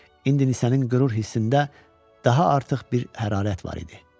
İndi Nisənin qürur hissində daha artıq bir hərarət var idi.